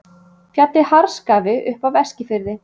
Fjallið Harðskafi upp af Eskifirði.